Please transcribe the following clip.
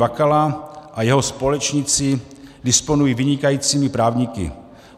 Bakala a jeho společníci disponují vynikajícími právníky.